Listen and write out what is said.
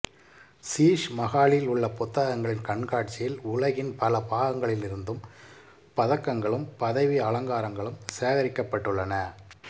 சீஷ் மகாலில் உள்ள பதக்கங்களின் கண்காட்சியில் உலகின் பல பாகங்களிலிருந்தும் பதக்கங்களும் பதவி அலங்காரங்களும் சேகரிக்கப்பட்டுள்ளன